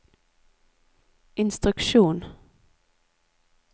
instruksjon